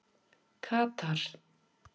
Katar